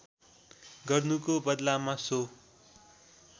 गर्नुको बदलामा सो